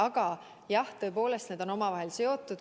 Aga jah, tõepoolest, need on omavahel seotud.